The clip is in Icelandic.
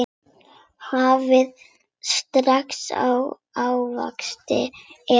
Hafið ferska ávexti efst.